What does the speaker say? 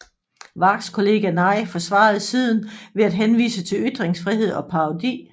Wargs kollega Neij forsvarede siden ved at henvise til ytringsfrihed og parodi